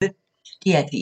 DR P1